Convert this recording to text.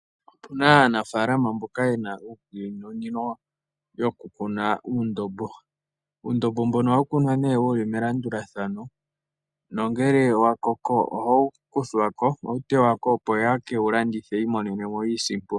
Opuna aanafalama mboka yena iikunino yokukuna uundombo, uundombo mbono ohawukunwa ne wuli melandulathano nongele wakoko ohawu kuthwa ko , ohawutewako opo yekewulandithepo yimonene iisimpo.